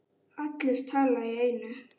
Allir tala í einu.